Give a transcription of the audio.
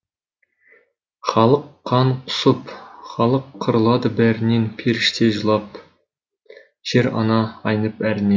халық қан құсып халық қырылады бәрінен періште жылап жер ана айнып әрінен